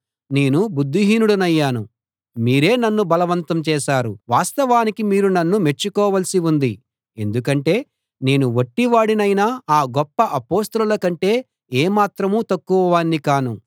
నేను బుద్ధిహీనుడినయ్యాను మీరే నన్ను బలవంతం చేశారు వాస్తవానికి మీరు నన్ను మెచ్చుకోవాల్సి ఉంది ఎందుకంటే నేను వట్టివాడినైనా ఆ గొప్ప అపొస్తలుల కంటే ఏ మాత్రం తక్కువ వాణ్ణి కాను